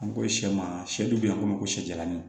An ko sɛ ma sɛ dun be yen a ko ma ko sijɛlanni